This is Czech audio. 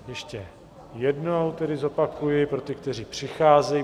Ještě jednou tedy zopakuji pro ty, kteří přicházejí.